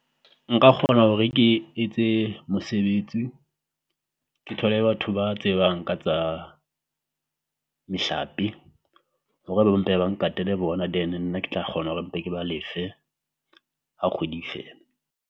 Nka kgona hore ke etse mosebetsi ke thole batho ba tsebang ka tsa mehlape hore ba be ba mpe ba n-guard-ele bona. Then nna ke tla kgona hore mpe ke ba lefe ha kgwedi e fela.